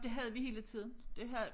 Det havde vi hele tiden det ha